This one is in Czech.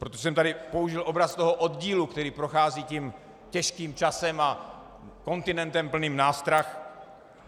Proto jsem tady použil obraz toho oddílu, který prochází tím těžkým časem a kontinentem plným nástrah.